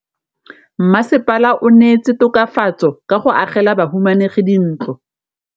Mmasepala o neetse tokafatsô ka go agela bahumanegi dintlo.